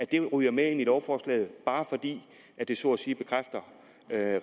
det ryger med ind i lovforslaget bare fordi det så at sige bekræfter